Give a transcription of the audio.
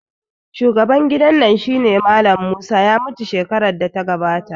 Shugaban gidan nan shine Mallam Musa, ya mutu shekarar da ta gabata